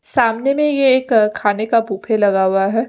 सामने में यह एक खाने का बुफे लगा हुआ है।